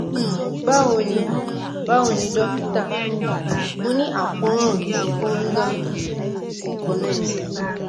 um bawo ni um bawo ni dókítà um mo ni akoran ti fungal ni ori èékánná ẹsẹ̀ mi